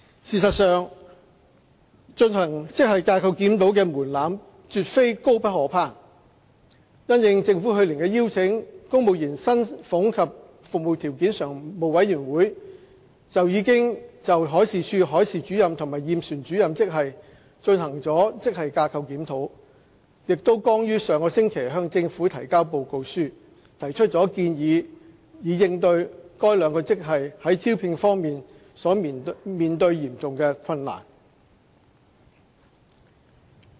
事實上，進行職系架構檢討的門檻絕非高不可攀，因應政府去年的邀請，公務員薪俸及服務條件常務委員會已就海事處海事主任及驗船主任職系進行了職系架構檢討，並剛於上星期向政府提交報告書，提出建議以應對該兩個職系在招聘方面所面對的嚴重困難。